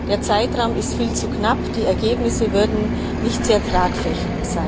Der Zeitraum ist viel zu knapp, die Ergebnisse wären nicht sehr tragfähig.